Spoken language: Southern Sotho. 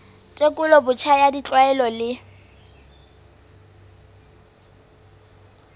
tekolo botjha ya ditlwaelo le